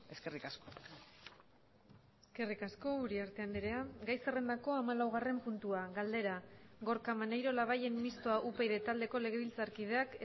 eskerrik asko eskerrik asko uriarte andrea gai zerrendako hamalaugarren puntua galdera gorka maneiro labayen mistoa upyd taldeko legebiltzarkideak